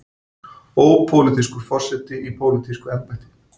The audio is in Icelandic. Ópólitískur forseti í pólitísku embætti.